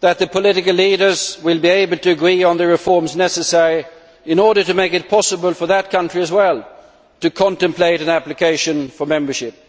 that the political leaders will be able to agree on the reforms necessary in order to make it possible for that country as well to contemplate an application for membership.